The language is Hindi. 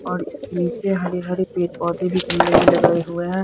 और इसके नीचे हरे हरे पेड पौधे भी गमले में लगाए हुए हैं।